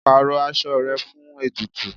Pàrọ aṣọ rẹ fún ètùtù.